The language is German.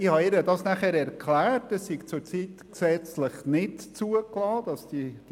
Ich habe ihr erklärt, dass das zurzeit gesetzlich nicht möglich sei.